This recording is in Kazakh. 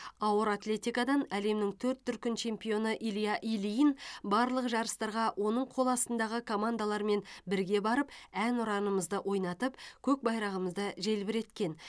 ауыр атлетикадан әлемнің төрт дүркін чемпионы илья ильин барлық жарыстарға оның қоластындағы командалармен бірге барып әнұранымызды ойнатып көк байрағымызды желбіреткен